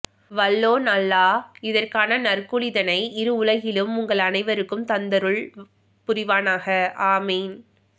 வல்லோன் அல்லாஹ் இதற்கான நற்கூலி தனை இரு உலகிலும் உங்கள் அனைவருக்கும் தந்தருள் புரிவானாக ஆமீன்